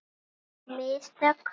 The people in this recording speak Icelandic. Mín mistök?